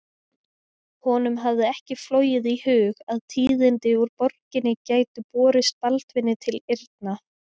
Honum hafði ekki flogið í hug að tíðindi úr borginni gætu borist Baldvini til eyrna.